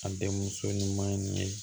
A den muso nimin